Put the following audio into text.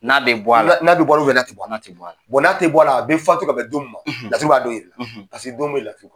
N'a bɛ bɔ a la. N'a bɛ bɔ a la n'a tɛ bɔ a la . n'a tɛ bɔ a la, a bɛ fatu ka bɛn don min ma , laturu b'a don jira i la . don bɛɛ ye laturu ka